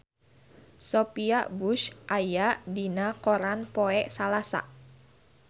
Sophia Bush aya dina koran poe Salasa